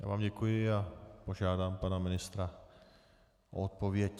Já vám děkuji a požádám pana ministra o odpověď.